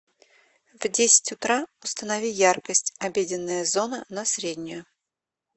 в десять утра установи яркость обеденная зона на среднюю